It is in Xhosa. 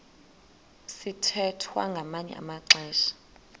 sithwethwa ngamanye amaxesha